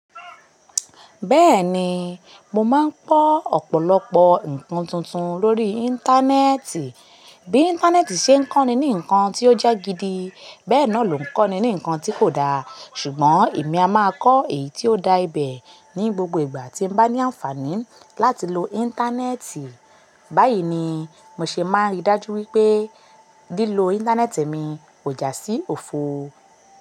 Bẹ́ẹ̀ni, mo máa ń kọ́ ọ̀pọ̀lọpọ̀ ǹkan tuntun lórí Íńtánẹ́ẹ̀tì. Bí Íńtánẹ́ẹ̀tì ṣe ń kọ́ni ní ǹkan tí ó jẹ́ gidi, bẹ́ẹ̀ náà ló ń kọ́ni ní ǹkan tí kò da. Ṣùgbọ́n èmi a máa kọ́ èyí tí ó da ibẹ̀ ní gbogbo ìgbà tí ń bá ní àǹfààní láti lo Íńtánẹ́ẹ̀tì. Báyìí ni mo ṣe máa rí dájú wípé lílo Íńtánẹ́ẹ̀tì mi kò já sí òfo.